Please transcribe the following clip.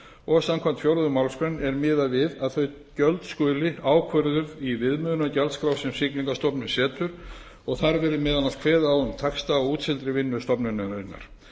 og samkvæmt fjórðu málsgrein er miðað við að þau gjöld skuli ákvörðuð í viðmiðunargjaldskrá sem siglingastofnun setur og þar verði meðal annars kveðið á um taxta á útseldri vinnu stofnunarinnar